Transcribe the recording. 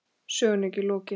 Sögunni er ekki lokið.